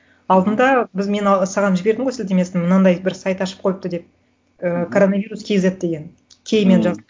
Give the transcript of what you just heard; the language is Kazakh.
алдында біз мен алғы саған жібердім ғой сілтемесін мынандай бір сайт ашып қойыпты деп ыыы коронавирус кейзет деген кей мен жазып